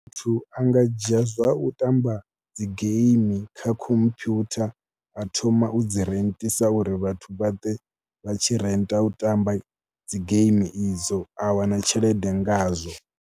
Muthu a nga dzhia zwa u tamba dzi game kha khompyutha a thoma u dzi rentisa uri vhathu vha ḓe vha tshi renta u tamba dzi game idzo. A wana tshelede ngazwo.